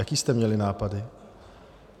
Jaké jste měli nápady?